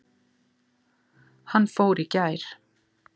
Hann fór í gær